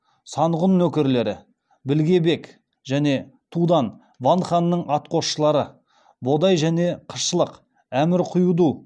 санғұн нөкерлері білгебек және тудан ван ханның атқосшылары бодай және қышлық әмір құйду